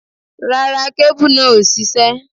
Rárá, kébù náà ò ṣiṣẹ́.